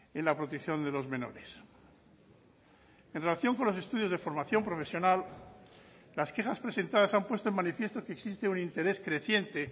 en la protección de los menores en relación con los estudios de formación profesional las quejas presentadas han puesto en manifiesto que existe un interés creciente